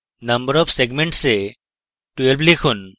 number of segments এ 12 লিখুন